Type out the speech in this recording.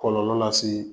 Kɔlɔlɔ lase